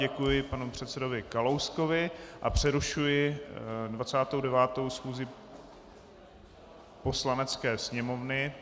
Děkuji panu předsedovi Kalouskovi a přerušuji 29. schůzi Poslanecké sněmovny.